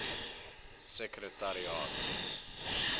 sekretariaat